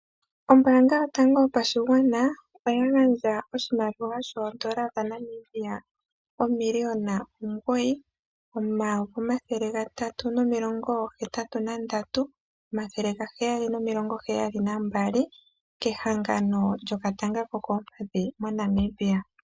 Ombaanga yotango yopashigwana, oya gandja oshimaliwa shooN$9 383 772.00 kehangano lyokatanga ko koompadhi moNamibia.